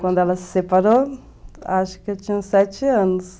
Quando ela se separou, acho que eu tinha uns sete anos.